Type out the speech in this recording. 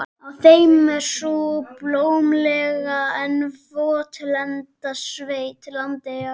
Á þeim er sú blómlega en votlenda sveit, Landeyjar.